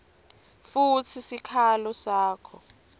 futsi sikhalo sakho